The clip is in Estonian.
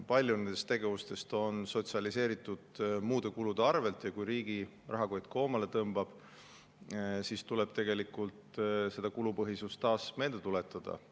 Paljud nendest tegevustest on sotsialiseeritud muude kulude arvel ja kui riigi rahakott koomale tõmbub, siis tuleb seda kulupõhisust taas meelde tuletada.